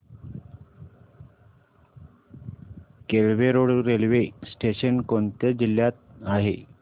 Kelve road railway station कोणत्या जिल्ह्यात आहे